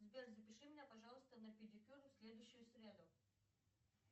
сбер запиши меня пожалуйста на педикюр в следующую среду